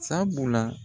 Sabula